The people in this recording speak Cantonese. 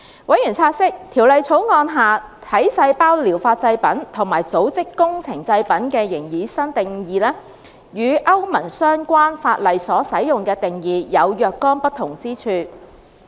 委員察悉，《條例草案》下"體細胞療法製品"和"組織工程製品"的擬議新定義，與歐盟相關法例所使用的定義有若干不同之處。